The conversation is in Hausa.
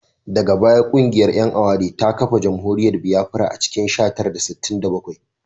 Daga baya kungiyar ‘yan aware ta kafa jamhuriyar Biafra a cikin sha tara da sittin da bakwai